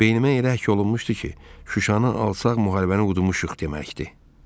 Beynimə elə həkk olunmuşdu ki, Şuşanı alsaq müharibəni udmuşuq deməkdir.